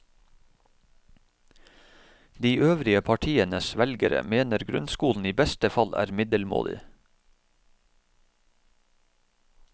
De øvrige partienes velgere mener grunnskolen i beste fall er middelmådig.